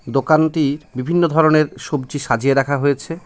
দোকানটির বিভিন্ন ধরনের সবজি সাজিয়ে রাখা হয়েছে।